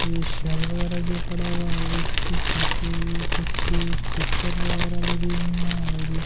ये सेल बगैरा जे पड़ा हुआ है और उसके नीचे ऐ कुछ पिक्‍चर बगैरा लगी हुई हैं और ये--